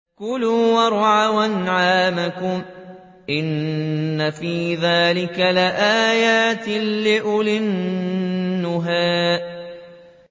كُلُوا وَارْعَوْا أَنْعَامَكُمْ ۗ إِنَّ فِي ذَٰلِكَ لَآيَاتٍ لِّأُولِي النُّهَىٰ